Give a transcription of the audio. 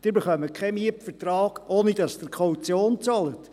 Sie erhalten keinen Mietvertrag, ohne die Kaution zu bezahlen.